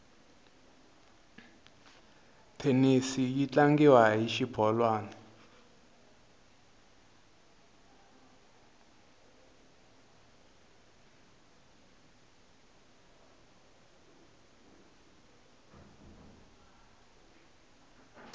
thenisi yi tlangiwa hi xibolwani